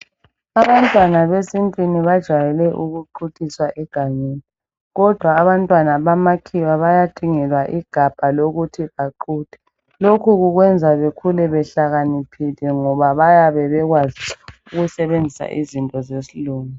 Abantwana besintwini bajayele ukuquthiswa egangeni .Kodwa abantwana bamakhiwa bayadingelwa igabha lokuthi baquthe ,lokhu kukwenza bekhule behlakaniphile ngoba bayabe bekwazi ukusebenzisa izinto zesilungu.